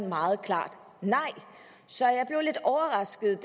meget klart nej så jeg blev lidt overrasket